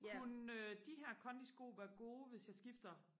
kunne de her kondisko være gode hvis jeg skifter